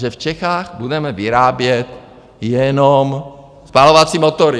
Že v Čechách budeme vyrábět jenom spalovací motory.